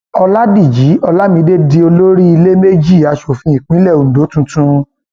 ọlajìji olamide di olórí ìlẹẹmejì aṣòfin ìpínlẹ ondo tuntun